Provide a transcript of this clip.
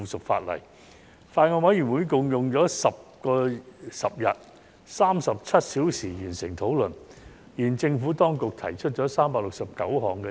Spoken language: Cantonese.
法案委員會用了10天共37小時完成討論，而政府當局提出了369項 CSA。